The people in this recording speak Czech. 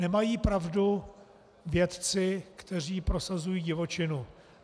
Nemají pravdu vědci, kteří prosazují divočinu.